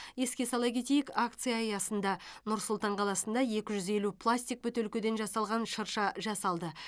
еске сала кетейік акция аясында нұр сұлтан қаласында екі жүз елу пластик бөтелкеден жасалған шырша жасалды